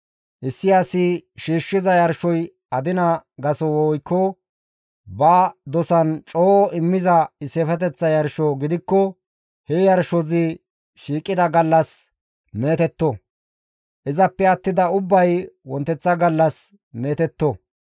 Issi asi shiishshiza yarshoy adina gaso woykko ba dosan coo immiza issifeteththa yarsho gidikko he yarshozi shiiqida gallas meetetto; izappe attida ubbay wonteththa gallas meetetto.